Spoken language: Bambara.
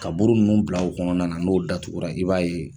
Ka buru nunnu bila o kɔnɔna na n'o datugura i b'a ye